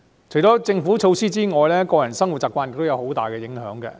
除了政府措施之外，個人生活習慣也對環境有很大影響。